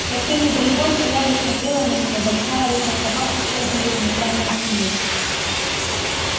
совсем недалеко стояла и смотрела на неё большая рыжая собака с чёрными ремешками на спине